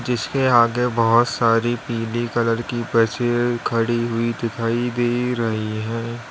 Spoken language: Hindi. इसके आगे बहुत सारी पीली कलर की बसे खड़ी हुई दिखाई दे रही है।